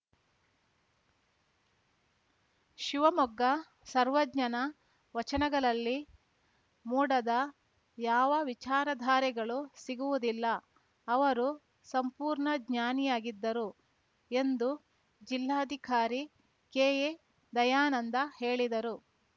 ಶಿವಮೊಗ್ಗ ಸರ್ವಜ್ಞನ ವಚನಗಳಲ್ಲಿ ಮೂಡದ ಯಾವ ವಿಚಾರಧಾರೆಗಳು ಸಿಗುವುದಿಲ್ಲ ಅವರು ಸಂಪೂರ್ಣ ಜ್ಞಾನಿಯಾಗಿದ್ದರು ಎಂದು ಜಿಲ್ಲಾಧಿಕಾರಿ ಕೆಎ ದಯಾನಂದ ಹೇಳಿದರು